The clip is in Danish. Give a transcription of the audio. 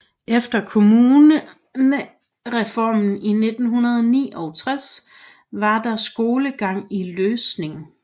Efter kommunereformen i 1969 var der skolegang i Løsning